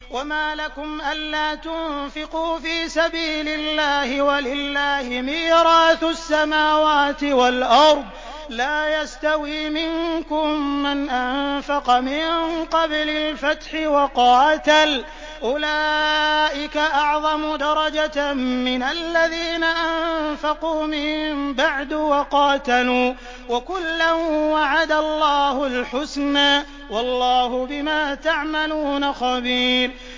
وَمَا لَكُمْ أَلَّا تُنفِقُوا فِي سَبِيلِ اللَّهِ وَلِلَّهِ مِيرَاثُ السَّمَاوَاتِ وَالْأَرْضِ ۚ لَا يَسْتَوِي مِنكُم مَّنْ أَنفَقَ مِن قَبْلِ الْفَتْحِ وَقَاتَلَ ۚ أُولَٰئِكَ أَعْظَمُ دَرَجَةً مِّنَ الَّذِينَ أَنفَقُوا مِن بَعْدُ وَقَاتَلُوا ۚ وَكُلًّا وَعَدَ اللَّهُ الْحُسْنَىٰ ۚ وَاللَّهُ بِمَا تَعْمَلُونَ خَبِيرٌ